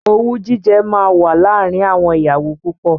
Owú jíjẹ máa wà láàárín àwọn ìyàwó púpọ̀.